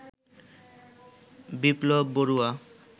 Biplab Barua